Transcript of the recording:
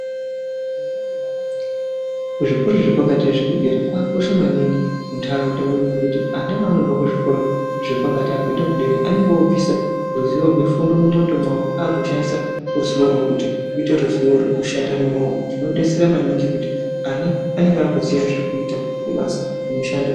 Kuzvikora zvepakati zvekudera kwakakosha maningi muntaraunda medu ngekuti anda paanobva kuzvikora zvepakati akuenda kudera anenge obvisa ruzivo rwefundo mundxondo mawo akushandisa ruzivo rwekuti uite ruzivo rwekushanda neamaoko zvinodetsera maningi kuti ana anenge akuziya zvekuita basa nemishando.